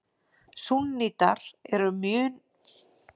Súnnítar eru mun fjölmennari en sjítar.